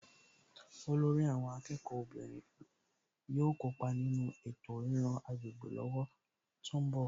Olórí àwọn akẹ́kọ̀ọ́ obìnrin yóò kópa nínú ètò ríran agbègbè lọ́wọ́ tó ń bọ̀